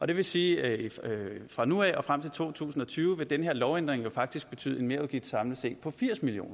det vil sige at fra nu af og frem til to tusind og tyve vil den her lovændring faktisk betyde en merudgift samlet set på firs million